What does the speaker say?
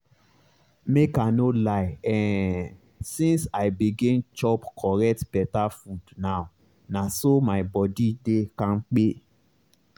make i no lie[um]since i begin chop correct beta food now na so my body dey kampe